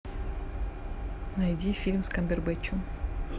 найди фильм с камбербэтчем